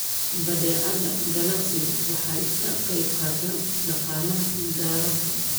Badeecadaha ganacsigu waxay ka qayb qaataan dhaqaalaha qaranka.